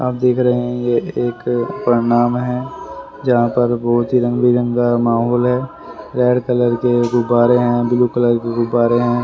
आप देख रहे हैं ये एक प्रणाम है जहां पर बहोत ही रंग बिरंगा माहौल है रेड कलर के गुब्बारे हैं ब्लू कलर के गुब्बारे हैं।